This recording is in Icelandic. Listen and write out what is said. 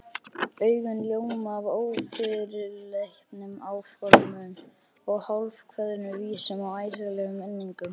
Augun ljóma af ófyrirleitnum áformum, hálfkveðnum vísum og æsilegum minningum.